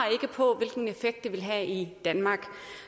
på hvilken effekt det vil have i danmark